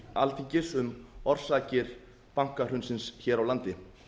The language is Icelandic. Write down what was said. alþingis um orsakir bankahrunsins hér á landi